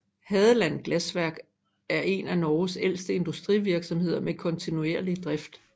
Hadeland Glassverk eren af Norges ældste industrivirksomhed med kontinuerlig drift